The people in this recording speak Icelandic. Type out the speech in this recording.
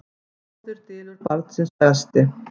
Móðir dylur barnsins bresti.